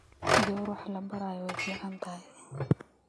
Gawar waxlaborayo way ficnthy.